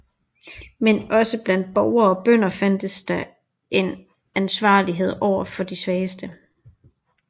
Men også blandt borgere og bønder fandtes der en ansvarlighed overfor de svageste